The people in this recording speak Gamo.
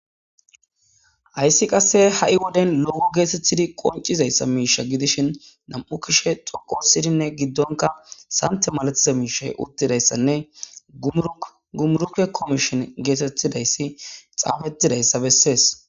Hayssi qasse ha7i woden lo7o geetetidi qoncizayssa miisha gidishin nam7u kushe xoqo sidinne giddonka sante malatiza miishay uttidayssanne gumuruke komishin geetettidayssi xaafettidayssa bessees.